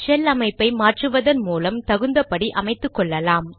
shell அமைப்பை மாற்றுவதன் மூலம் தகுந்தபடி அமைத்துக்கொள்ளலாம்